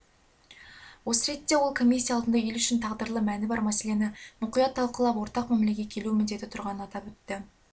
осы ретте ол комиссия алдында ел үшін тағдырлы мәні бар мәселені мұқият талқылап ортақ мәмлеге келу міндеті тұрғанын атап өтті